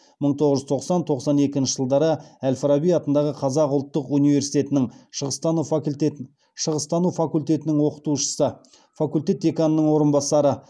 мың тоғыз жүз тоқсан тоқсан екінші жылдары әл фараби атындағы қазақ ұлттық университетінің шығыстану факультетінің оқытушысы факультет деканының орынбасары